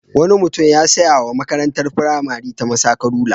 Wani mutum ya saya wa makarntar firamare ta masaka rula.